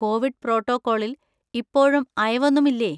Covid പ്രോട്ടോക്കോളിൽ ഇപ്പോഴും അയവൊന്നും ഇല്ലേ?